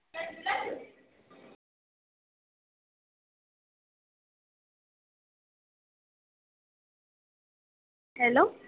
Hello